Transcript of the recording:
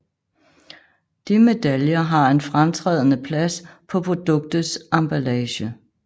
De medaljer har en fremtrædende plads på produktets emballage